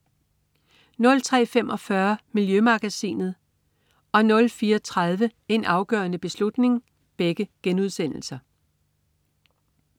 03.45 Miljømagasinet* 04.30 En afgørende beslutning*